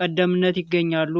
ቀደምትነት ይገኛሉ።